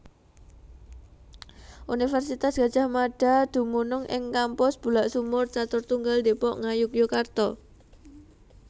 Universitas Gadjah Mada dumunung ing Kampus Bulaksumur Caturtunggal Depok Ngayogyakarta